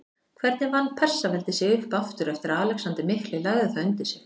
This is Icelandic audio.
Hvernig vann Persaveldi sig upp aftur eftir að Alexander mikli lagði það undir sig?